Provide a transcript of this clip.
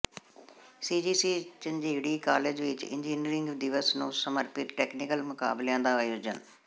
CGC Jhanjeri college ਵਿੱਚ engineering ਦਿਵਸ ਨੂੰ ਸਮਰਪਿਤ ਟੈਕਨੀਕਲ ਮੁਕਾਬਲਿਆਂ ਦਾ ਆਯੋਜਨ